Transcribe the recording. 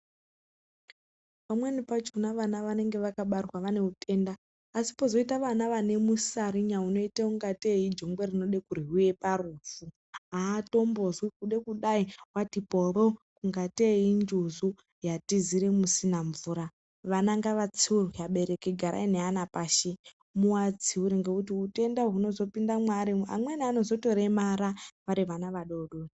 Pamweni pachona vana vanenge vakabarwa vane utenda asi pozoita vana vane musarinya unoita ungatei iijongwe rinode kuryiwa parufu aatombozwi kude kudai watipovo ungatei injuzu yatizire musina mvura, vana ngavatsiurwe vabereki garai neana pashi muwatsiure ngekuti utenda hunozotopinda mwaari amweni anozotoremara vari vana vadodori.